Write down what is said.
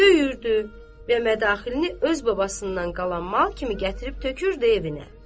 Döyürdü və mədaxilini öz babasından qalan mal kimi gətirib tökürdü evinə.